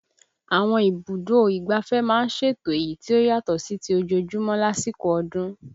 Àwọn ibùdó ìgbáfẹ́ máa ń ṣètò èyí tí ó yàtọ̀ sí ti ojoojúmọ́ lásìkò ọdún